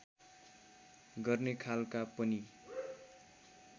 गर्ने खालका पनि